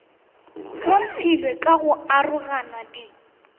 hlophilwe ka go arogana di